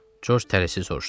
Corc tələsiz soruşdu.